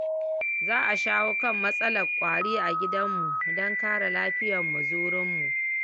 Za a shawo kan matsalar ƙwari a gidanmu don kare lafiyar muzurunmu.